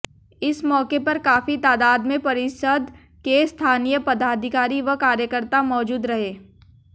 इस मौके पर काफी तादाद में परिषद के स्थानीय पदाधिकारी व कार्यकर्ता मौजूद रहे